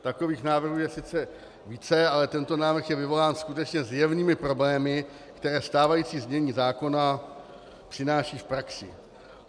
Takových návrhů je sice více, ale tento návrh je vyvolán skutečně zjevnými problémy, které stávající znění zákona přináší v praxi.